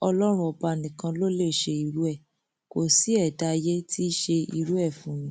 ọlọrun ọba nìkan ló lè ṣe irú ẹ kó ṣi ẹdá ayé tí í ṣe irú ẹ fún ni